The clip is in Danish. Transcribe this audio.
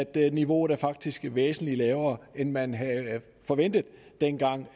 at niveauet faktisk er væsentlig lavere end man havde forventet dengang